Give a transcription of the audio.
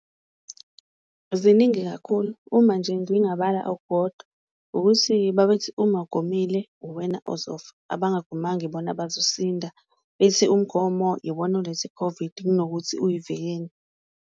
Ziningi kakhulu uma nje ngingabala okukodwa ukuthi babethi uma ugomile uwena ozofa, abangomama ibona abazosinda bethi umgomo iwona oletha i-COVID kunokuthi uyivikele.